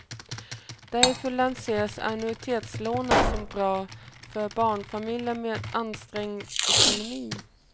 Därför lanseras annuitetslånen som bra för barnfamiljer med ansträngd ekonomi.